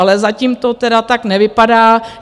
Ale zatím to tedy tak nevypadá.